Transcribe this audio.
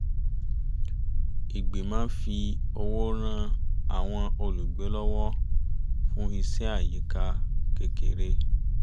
ìgbìmọ̀ fi owó rán àwọn olùgbé lọwọ fún iṣẹ́ àyíká kékeré